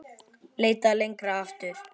Leitað lengra aftur.